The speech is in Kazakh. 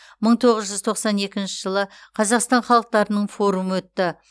мың тоғыз жүз тоқсан екінші жылы қазақстан халықтарының форумы өтті